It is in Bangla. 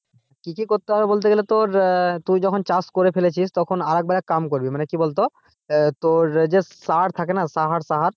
কি কি করতে হবে বলতে গেলে তোর আহ তুই যখন যখন চাষ করে ফেলেছিস তখন আর একবার এক কাম করবি, মানে কি বলতো আহ তোর যে সার থাকে না সাহার সাহার।